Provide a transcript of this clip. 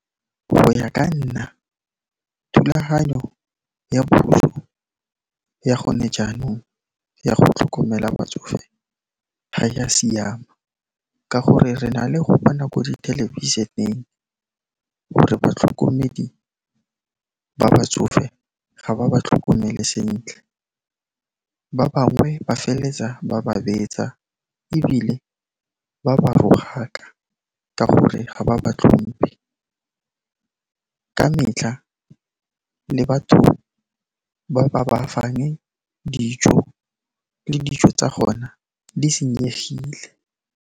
Go ya ka nna, thulaganyo ya puso ya gone jaanong ya go tlhokomela batsofe ga ya siama ka gore re na le go bona ko thelebisheneng gore batlhokomedi ba batsofe ga ba ba tlhokomele sentle, ba bangwe ba felletsa ba ba betsa ebile ba ba rogaka ka gore ga ba ba tlhompe ka metlha le batho ba ba ba fang dijo, le dijo tsa gona di senyegile.